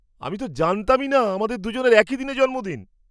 আমি তো জানতামই না আমাদের দুজনের একই দিনে জন্মদিন!